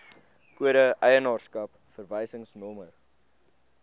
kode eienaarskap verwysingsnommer